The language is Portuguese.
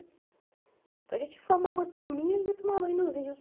Então, a gente formava uma turminha e ia tomar banho nos rios.